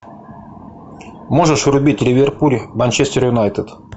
можешь врубить ливерпуль манчестер юнайтед